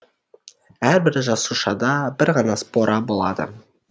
әрбір жасушада бір ғана спора болады